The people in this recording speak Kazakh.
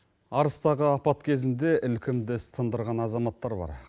арыстағы апат кезінде ілкімді іс тындырған азаматтар бар